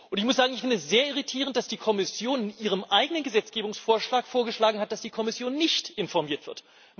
Ich finde es sehr irritierend, dass die Kommission in ihrem eigenen Gesetzgebungsvorschlag vorgeschlagen hat, dass die Kommission nicht informiert wird.